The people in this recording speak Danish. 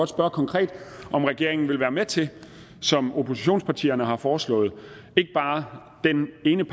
spørge konkret om regeringen vil være med til som oppositionspartierne har foreslået ikke bare den ene